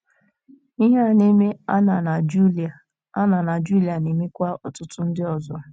Ihe a na - eme Anna na Julia Anna na Julia na - emekwa ọtụtụ ndị ọzọ.